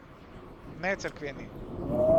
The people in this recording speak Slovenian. Ne cerkveni.